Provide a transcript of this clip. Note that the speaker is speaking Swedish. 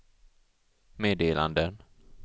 meddelanden